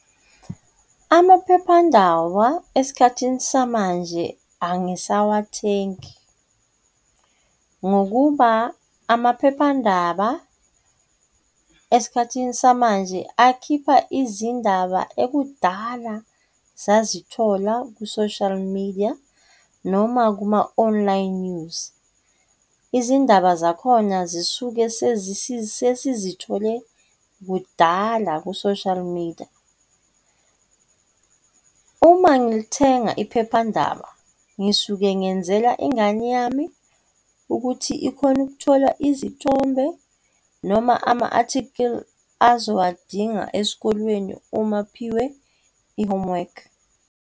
Amaphephandaba esikhathini samanje angisawathengi, ngokuba amaphephandaba esikhathini samanje akhipha izindaba ekudala sazithola ku-social media noma kuma-online news, izindaba zakhona zisuke sesizithole kudala ku-social media. Uma ngilithenga iphephandaba ngisuke ngenzela ingane yami ukuthi ikhone ukuthola izithombe noma ama-athikhili azowadinga esikolweni uma aphiwe i-homework.